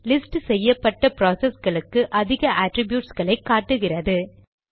list செய்யப்பட்ட ப்ராசஸ்களுக்கு அதிக அட்ரிப்யூட்ஸ் களை காட்டுகிறது